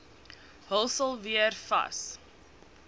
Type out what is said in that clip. hulsel weer vas